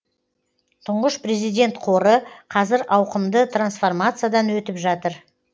тұңғыш президент қоры қазір ауқымды трансформациядан өтіп жатыр